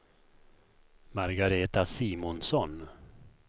Margareta Simonsson